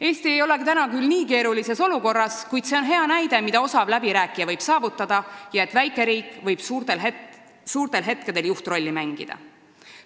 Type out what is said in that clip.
Eesti ei ole küll praegu nii keerulises olukorras, kuid see on hea näide, mida võib osav läbirääkija saavutada ja et väikeriik võib suurtel hetkedel juhtrolli haarata.